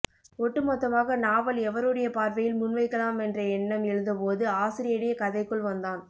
ஒட்டுமொத்தமாக நாவல் எவருடைய பார்வையில் முன்வைக்கலாமென்ற எண்ணம் எழுந்தபோது ஆசிரியனே கதைக்குள் வந்தான்